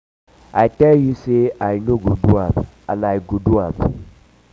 i tell you say i um go do am and i go um do am